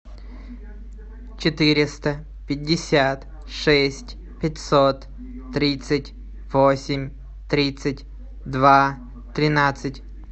четыреста пятьдесят шесть пятьсот тридцать восемь тридцать два тринадцать